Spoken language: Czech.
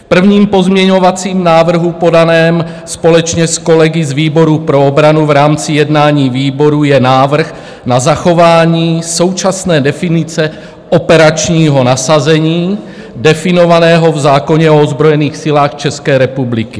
V prvním pozměňovacím návrhu podaném společně s kolegy z výboru pro obranu v rámci jednání výborů je návrh na zachování současné definice operačního zasazení definovaného v zákoně o ozbrojených silách České republiky.